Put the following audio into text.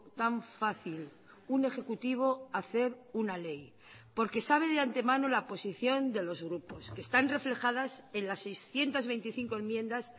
tan fácil un ejecutivo hacer una ley porque sabe de antemano la posición de los grupos que están reflejadas en las seiscientos veinticinco enmiendas